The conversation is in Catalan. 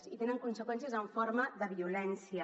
i té conseqüències en forma de violència